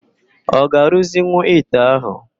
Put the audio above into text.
Ọ ga-arụzinwu ite ahụ?